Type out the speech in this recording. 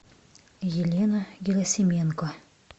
елена герасименко